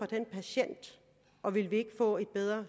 den patient og ville vi ikke få et bedre